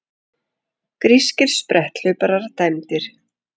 Grískir spretthlauparar dæmdir